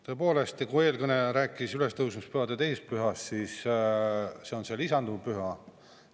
Tõepoolest, eelkõneleja rääkis ülestõusmispühade 2. pühast ja see oleks lisanduv püha.